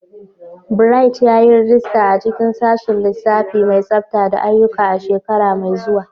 Bright, yi rajista a cikin Sashin Lissafi mai Tsafta da Aiyuka a shekara mai zuwa.